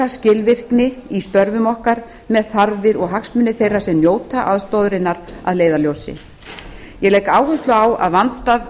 skilvirkni í störfum okkar með þarfir og hagsmuni þeirra sem njóta aðstoðarinnar að leiðarljósi ég legg áherslu á að vandað